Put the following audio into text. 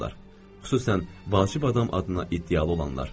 Xüsusən vacib adam adına iddialı olanlar.